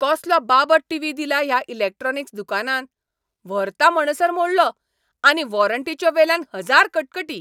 कसलो बाबत टीव्ही दिला ह्या इलेक्ट्रॉनिक्स दुकानान. व्हरता म्हणसर मोडलो. आनी वॉरंटीच्यो वेल्यान हजार कटकटी!